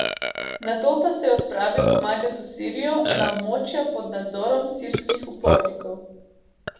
Nato pa se je odpravil pomagat v Sirijo na območja pod nadzorom sirskih upornikov.